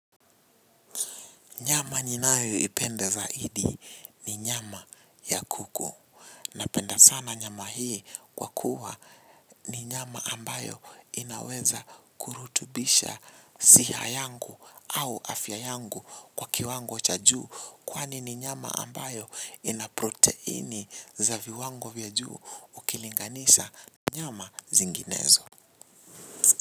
Nyama ninayoipenda zaidi ni nyama ya kuku. Napenda sana nyama hii kwa kuwa ni nyama ambayo inaweza kurutubisha siha yangu au afya yangu kwa kiwango cha juu. Kwani ni nyama ambayo ina proteini za viwango vya juu ukilinganisha nyama zinginezo.